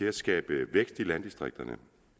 at skabe vækst i landdistrikterne